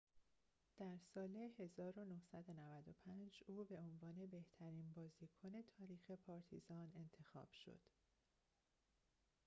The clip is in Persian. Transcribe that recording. در سال ۱۹۹۵ او به عنوان بهترین بازیکن تاریخ پارتیزان انتخاب شد